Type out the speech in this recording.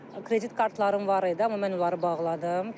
Kredit kartlarım var idi, amma mən onları bağladım.